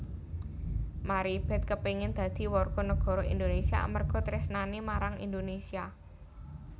Maribeth kepingin dadi warga negara Indonesia amarga tresnane marang Indonesia